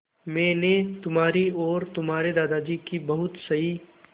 मैंने तुम्हारी और तुम्हारे दादाजी की बहुत सही